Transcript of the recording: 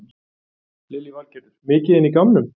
Lillý Valgerður: Mikið inn í gámnum?